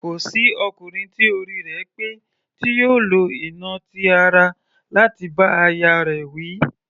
Kò sí ọkùnrin tí orí rẹ̀ pé tí yóò lo ìnà ti ara láti bá aya rẹ̀ wí.